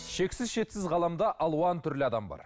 шексіз шетсіз ғаламда алуан түрлі адам бар